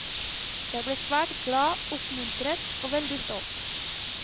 Jeg ble svært glad, oppmuntret og veldig stolt.